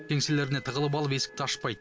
кеңселеріне тығылып алып есікті ашпайды